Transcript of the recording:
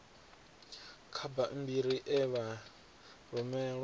kha bammbiri e vha rumelwa